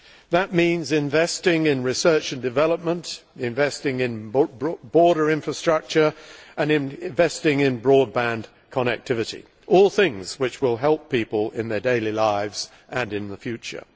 That means investing in research and development, investing in border infrastructure and investing in broadband connectivity all things which will help people in their daily lives and in the future.